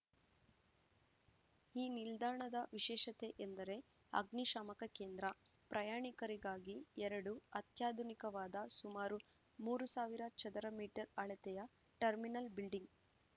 ಈ ನಿಲ್ದಾಣದ ವಿಶೇಷತೆ ಎಂದರೆ ಅಗ್ನಿಶಾಮಕ ಕೇಂದ್ರ ಪ್ರಯಾಣಿಕರಿಗಾಗಿ ಎರಡು ಅತ್ಯಾಧುನಿಕವಾದ ಸುಮಾರು ಮೂರ್ ಸಾವಿರ ಚದುರ ಮೀಟರ್ ಅಳತೆಯ ಟರ್ಮಿನಲ್‌ ಬಿಲ್ಡಿಂಗ್‌